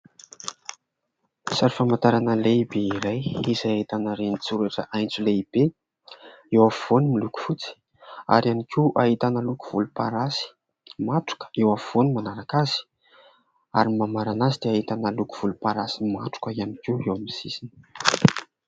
Sary famatarana lehibe iray ; izay ahitana renin-tsoratra aintso lehibe eo afovoany milokofotsy ary ihany koa ahitana loko volomparasy matroka eo afovoany manaraka azy. Ary mamarana azy dia ahitana loko volomparasy matroka ihany koa eo amin'ny sisiny